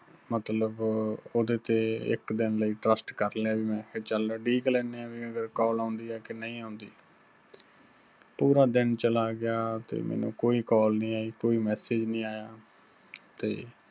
ਮਤਲਬ ਉਹਦੇ ਤੇ ਇੱਕ ਦਿੰਨ ਲਈ trust ਕਰ ਲਿਆ ਵੀ ਮੈਂ ਕਿਹਾ ਚੱਲ ਉਡੀਕ ਲੈਨੇ ਆਂ ਵੀ ਅਗਰ call ਆਉੰਦੀ ਆ ਕਿ ਨਹੀਂ ਆਉੰਦੀ। ਪੂਰਾ ਦਿੰਨ ਚਲਾ ਗਿਆ ਤੇ ਮੈਨੂੰ ਕੋਈ call ਨਹੀਂ ਆਈ ਕੋਈ message ਨਹੀਂ ਆਇਆ, ਤੇ